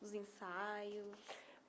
Dos ensaios.